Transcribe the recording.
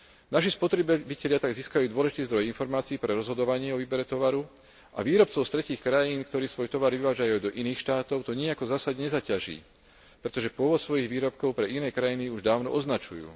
Naši spotrebitelia tak získajú dôležitý zdroj informácií pre rozhodovanie o výbere tovaru a výrobcov z tretích krajín, ktorí svoj tovar vyvážajú do iných štátov, to nijako zásadne nezaťaží, pretože pôvod svojich výrobkov pre iné krajiny už dávno označujú.